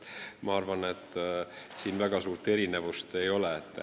Ma arvan, et siin väga suuri erinevusi ei ole.